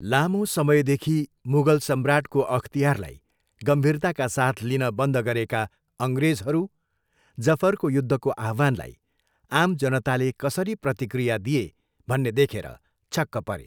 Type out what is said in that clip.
लामो समयदेखि मुगल सम्राटको अख्तियारलाई गम्भीरताका साथ लिन बन्द गरेका अङ्ग्रेजहरू जफरको युद्धको आह्वानलाई आम जनताले कसरी प्रतिक्रिया दिए भन्ने देखेर छक्क परे।